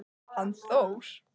Hann Þór?